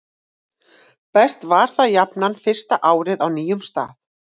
best var það jafnan fyrsta árið á nýjum stað